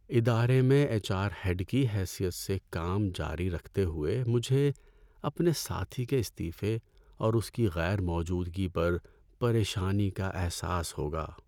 ادارے میں H R head کی حیثیت سے کام جاری رکھتے ہوئے مجھے ‏اپنے ساتھی کے استعفے اور اس کی غیر موجودگی پر پریشانی کا احساس ہوگا‏۔